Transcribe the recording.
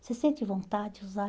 Você sente vontade de usar?